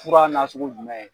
Fura nasugu gumɛ?